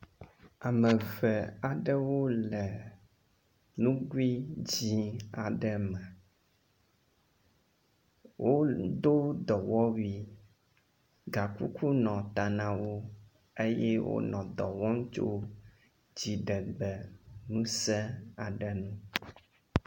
Ame ve aɖewo le nugui dzi aɖe me. Wodo dɔwɔwui gakuku nɔ ta na wo eye wonɔ dɔ wɔm tso dziɖegbe ŋuse aɖe nu.